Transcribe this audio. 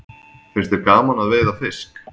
Finnst þér gaman að veiða fisk?